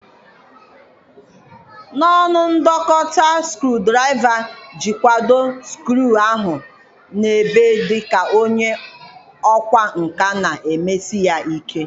N'ọnụ ndọta nke skru-draiva jikwado skru ahụ n'ebe dị ka onye ọkwá nkà na-emesi ya ike.